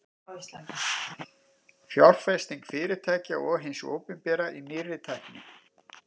Fjárfesting fyrirtækja og hins opinbera í nýrri tækni.